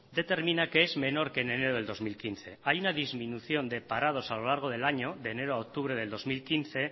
determina que es menor que en enero de dos mil quince hay una disminución de parados a lo largo del año de enero a octubre del dos mil quince